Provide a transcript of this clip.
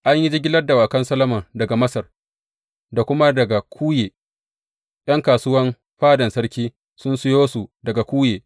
An yi jigilar dawakan Solomon daga Masar da kuma daga Kuye, ’yan kasuwan fadan sarki sun sayo su daga Kuye.